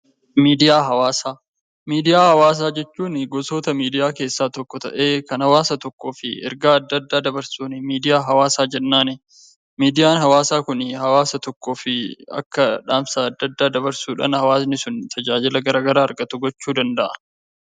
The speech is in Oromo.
Miidiyaa hawaasaa jechuun gosoota miidiyaa keessaa tokko ta'ee, kan hawaasa tokkoof ergaa adda addaa dabarsuun miidiyaa hawaasaa jennaani. Miidiyaan hawaasaa kuni hawaasa tokkoof akka dhaamsa adda addaa dabarsudhaan hawaasni sun tajaajila argatu gochuu danda'a.